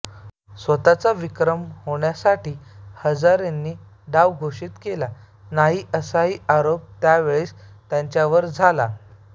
स्वतःचा विक्रम होण्यासाठी हजारेंनी डाव घोषित केला नाही असाही आरोप त्यावेळेस त्यांच्यावर झाला